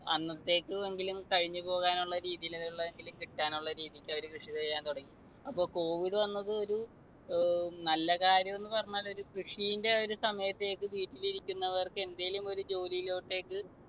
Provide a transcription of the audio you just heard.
അന്നത്തേക്കെങ്കിലും കഴിഞ്ഞു പോവാനുള്ള രീതിയിലുള്ളതെങ്കിലും കിട്ടാനുള്ള രീതിക്കു അവര് കൃഷി ചെയ്യാൻ തുടങ്ങി. അപ്പോ covid വന്നത് ഒരു അഹ് നല്ല കാര്യം എന്ന് പറഞ്ഞാൽ ഒരു കൃഷിന്റെ ഒരു സമയത്ത് വീട്ടിൽ ഇരിക്കുന്നവർക്ക് എന്തേലും ഒരു ജോലിയിലോട്ടെക്ക്